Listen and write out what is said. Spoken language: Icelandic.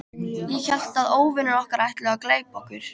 Ég hélt að óvinir okkar ætluðu að gleypa okkur.